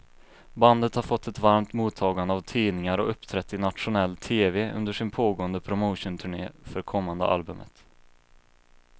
Bandet har fått ett varmt mottagande av tidningar och uppträtt i nationell tv under sin pågående promotionturné för kommande albumet.